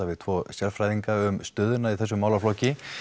við tvo sérfræðinga um stöðuna í þessum málaflokki